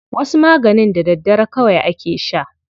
Wasu maganin da daddare kawai ake sha.